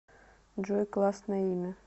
джой классное имя